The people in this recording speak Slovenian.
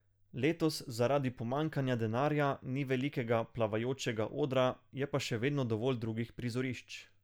Letos zaradi pomanjkanja denarja ni velikega plavajočega odra, je pa še vedno dovolj drugih prizorišč.